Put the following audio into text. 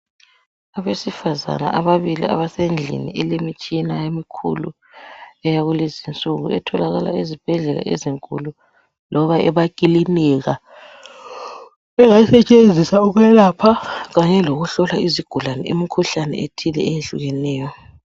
Abesifazana ababili abasendlini elemitshina emikhulu eyakulezi insuku etholakala ezibhedlela ezinkulu loba emakilinika. Engasetshenziswa ukwelapha kanye lokuhlola izigulane imkhuhlane ethile eyehlukeneyo.